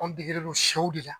Anw degelen don siyɛ de la.